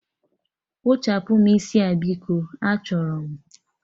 Kpụchapụm isi a biko, achọrọ m!